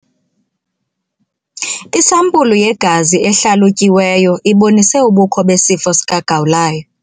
Isampulu yegazi ehlalutyiweyo ibonise ubukho besifo sikagawulayo.